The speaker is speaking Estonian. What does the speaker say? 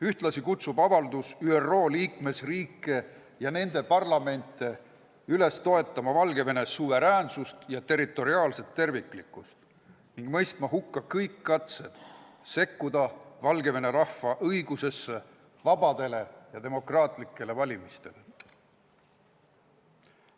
Ühtlasi kutsub avaldus ÜRO liikmesriike ja nende parlamente üles toetama Valgevene suveräänsust ja territoriaalset terviklikkust, mõistma hukka kõik katsed sekkuda Valgevene rahva õigusesse korraldada vabad ja demokraatlikud valimised.